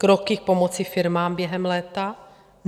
Kroky k pomoci firmám během léta?